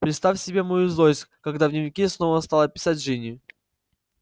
представь себе мою злость когда в дневнике снова стала писать джинни